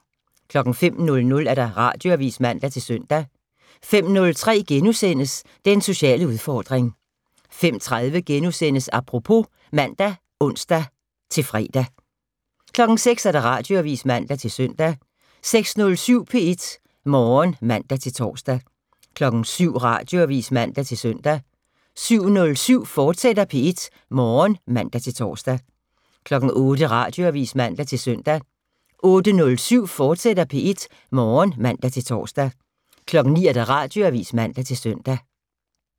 05:00: Radioavis (man-søn) 05:03: Den sociale udfordring * 05:30: Apropos *(man og ons-fre) 06:00: Radioavis (man-søn) 06:07: P1 Morgen (man-tor) 07:00: Radioavis (man-søn) 07:07: P1 Morgen, fortsat (man-tor) 08:00: Radioavis (man-søn) 08:07: P1 Morgen, fortsat (man-tor) 09:00: Radioavis (man-søn)